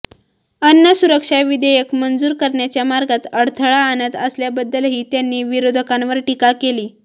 अन्न सुरक्षा विधेयक मंजूर करण्याच्या मार्गात अडथळा आणत असल्याबद्दलही त्यांनी विरोधकांवर टीका केली